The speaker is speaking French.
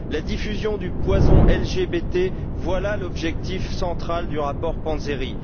La diffusion du poison LGBT, voilà l'objectif central du rapport Panzeri.